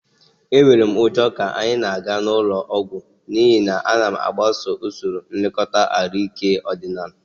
Enwere m ụjọ ka anyị na-aga ụlọ ọgwụ n'ihi na m na-agbaso usoro nlekọta ahụike ọdịnaala